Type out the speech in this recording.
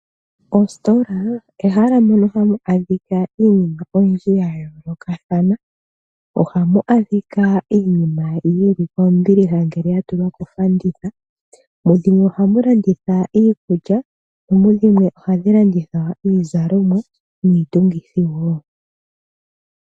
Ostola ehala mono hamu adhika iinima oyindji ya yoolokathana. Ohamu adhika iinima yili kombiliha ngele ya tulwa kofanditha. Mudhimwe ohamu landithwa iikulya, mudhimwe ohamu landitha iizalomwa niitungithi woo.